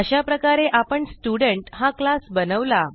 अशाप्रकारे आपण स्टुडेंट हा क्लास बनवला